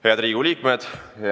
Head Riigikogu liikmed!